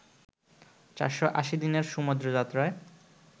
৪৮০ দিনের সমুদ্র যাত্রায়